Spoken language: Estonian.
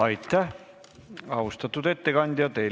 Aitäh, austatud ettekandja!